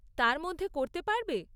তার মধ্যে করতে পারবে?